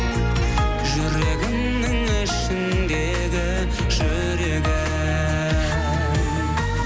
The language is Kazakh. жүрегімнің ішіндегі жүрегім